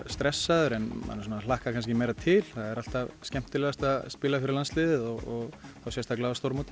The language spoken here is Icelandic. stressaður en manni hlakkar meira til alltaf skemmtilegast að spila fyrir landsliðið og þá sérstaklega á stórmóti